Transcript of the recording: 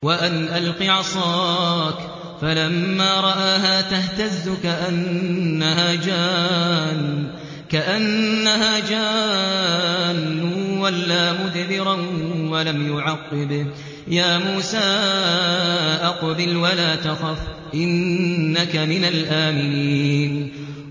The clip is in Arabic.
وَأَنْ أَلْقِ عَصَاكَ ۖ فَلَمَّا رَآهَا تَهْتَزُّ كَأَنَّهَا جَانٌّ وَلَّىٰ مُدْبِرًا وَلَمْ يُعَقِّبْ ۚ يَا مُوسَىٰ أَقْبِلْ وَلَا تَخَفْ ۖ إِنَّكَ مِنَ الْآمِنِينَ